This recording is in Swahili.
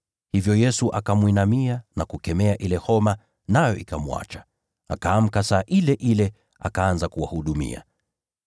Hivyo Yesu akamwinamia na kukemea ile homa, nayo ikamwacha. Akaamka saa ile ile, naye akaanza kuwahudumia.